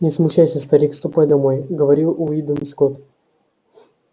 не смущайся старик ступай домой говорил уидон скотт